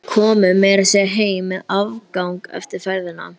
Við komum meira að segja heim með afgang eftir ferðina.